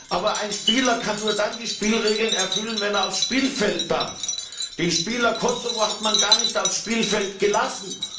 Aber ein Spieler kann sich nur dann an die Spielregeln halten, wenn er aufs Spielfeld darf. Den Spieler Kosovo hat man gar nicht aufs Spielfeld gelassen.